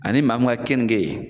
Ani maa min ka keninke